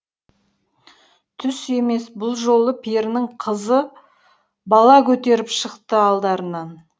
түс емес бұл жолы перінің қызы бала көтеріп шықты алдарынан